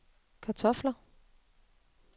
kartofler